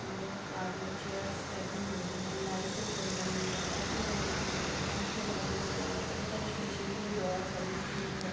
मेआगे chairs लागि हुई हे लाईटे जल रही हे पर्दे लागे हुये हे पंखे लागे हुये हे उपार सीसेकी ड्रॉर बानी हुई हे।